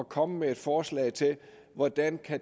komme med forslag til hvordan